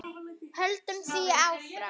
Höldum því áfram.